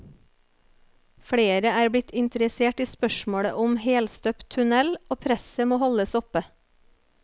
Flere er blitt interessert i spørsmålet om helstøpt tunnel, og presset må holdes oppe.